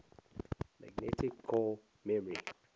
magnetic core memory